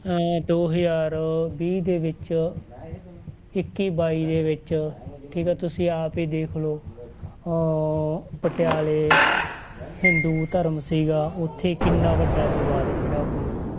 ਅਹ ਦੋ ਹਜ਼ਾਰ ਵੀਹ ਦੇ ਵਿੱਚ ਇੱਕੀ ਬਾਈ ਦੇ ਵਿੱਚ ਠੀਕ ਆ ਤੁਸੀਂ ਆਪ ਹੀ ਦੇਖ ਲਓ ਉਹ ਪਟਿਆਲੇ ਹਿੰਦੂ ਧਰਮ ਸੀਗਾ ਉੱਥੇ ਕਿੰਨਾ ਵੱਡਾ ਵਿਵਾਦ ਖੜਾ ਹੋਇਆ।